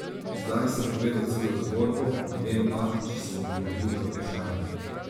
Zdaj sem povedal celo zgodbo, ne vem pa, če sem odgovoril na vprašanje.